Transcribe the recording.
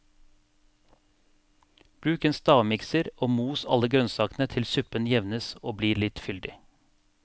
Bruk en stavmikser og mos alle grønnsakene til suppen jevnes og blir litt fyldig.